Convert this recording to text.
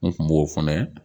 N kun b'o fɛnɛ